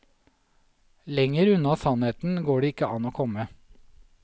Lenger unna sannheten går det ikke an å komme.